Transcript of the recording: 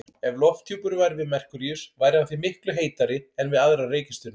Ef lofthjúpur væri við Merkúríus væri hann því miklu heitari en við aðrar reikistjörnur.